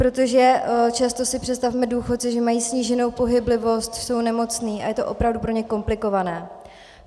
Protože často si představme důchodce, že mají sníženou pohyblivost, jsou nemocní a je to opravdu pro ně komplikované.